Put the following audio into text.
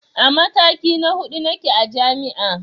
A mataki na huɗu nake a jami'a